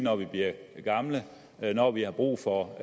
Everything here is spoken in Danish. når vi bliver gamle når vi har brug for